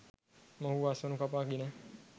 මොවුහු අස්වනු කපා පාගා ගෙන